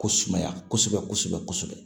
Ko sumaya kosɛbɛ kosɛbɛ